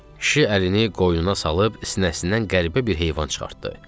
Kişi əlini qoynuna salıb sinəsindən qəribə bir heyvan çıxartdı.